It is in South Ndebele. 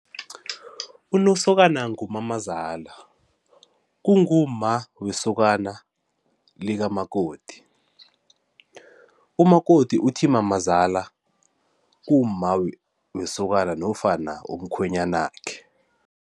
UNosokana ngumamazala, kungumma wesokana likamakoti, umakoti uthi mamazala kumma wesokana nofana umkhwenyanakhe.